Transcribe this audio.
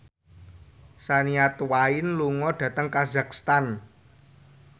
Shania Twain lunga dhateng kazakhstan